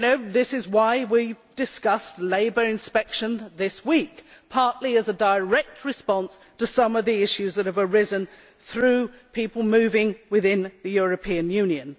This is why we discussed labour inspection this week, partly as a direct response to some of the issues that have arisen through people moving within the European Union.